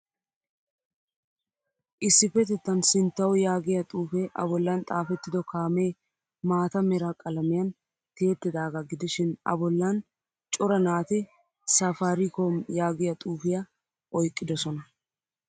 Issipetettan sinttawu yaagiyaa xuufe a bollan xaafettido kaamee maataa mera qalamiyan tiyettidaga gidishin a bollan cora naati safaricom yaagiyaa xuufiyaa oyqqidosona.